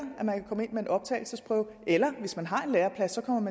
at man optagelsesprøve eller hvis man har en læreplads